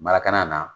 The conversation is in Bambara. Marakana na